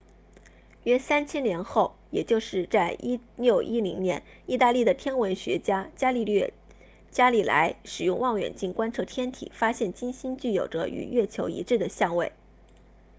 约三千年后也就是在1610年意大利的天文学家伽利略伽利莱 galileo galilei 使用望远镜观测天体发现金星具有着与月球一致的相位